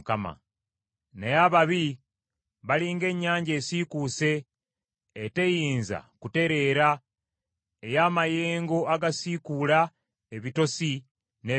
Naye ababi bali ng’ennyanja esiikuuse, eteyinza kutereera, ey’amayengo agasiikuula ebitosi n’ebitaka.